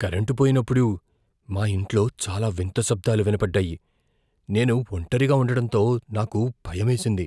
Current పోయినప్పుడు, మా ఇంట్లో చాలా వింత శబ్దాలు వినబడ్డాయి, నేను ఒంటరిగా ఉండటంతో నాకు భయమేసింది.